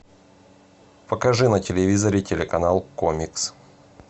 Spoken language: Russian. покажи на телевизоре телеканал комикс